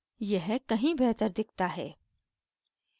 यह कहीं बेहतर दिखता है